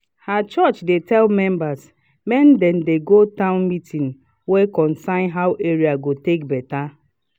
her church dey tell members make dem dey go town meeting wey concern how area go take better